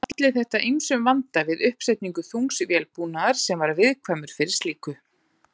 Olli þetta ýmsum vanda við uppsetningu þungs vélbúnaðar sem var viðkvæmur fyrir slíku.